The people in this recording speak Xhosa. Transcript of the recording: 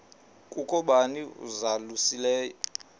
kukho bani uzalusileyo